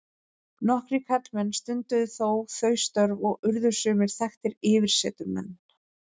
Nokkrir karlmenn stunduðu þó þau störf og urðu sumir þekktir yfirsetumenn.